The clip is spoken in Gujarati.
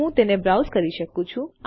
હું તેને બ્રાઉઝ કરી શકું છું